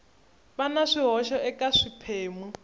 va na swihoxo eka swiphemu